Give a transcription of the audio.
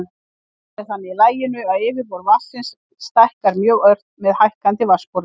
Skálin er þannig í laginu að yfirborð vatnsins stækkar mjög ört með hækkandi vatnsborði.